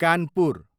Kanpur